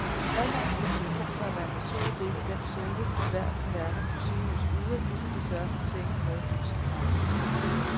Adgangen til en telefon bør være en naturlig del af den service, ethvert moderne sygehus yder, ligesom det sørger for senge, mad, lys og varme.